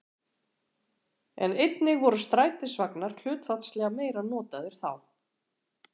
En einnig voru strætisvagnar hlutfallslega meira notaðir þá.